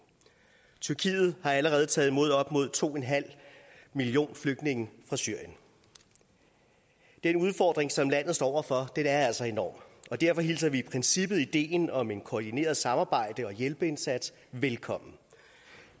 tyrkiet har allerede taget imod op mod to millioner flygtninge fra syrien den udfordring som landet står over for er altså enorm og derfor hilser vi i princippet ideen om en koordineret samarbejds og hjælpeindsats velkommen